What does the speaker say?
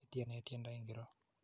Ityene tyendo ingoro?